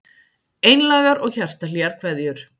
Einlægar og hjartahlýjar kveðjur